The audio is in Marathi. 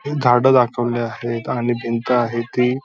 खूप झाड दाखवले आहेत आणि भिंत आहे ती --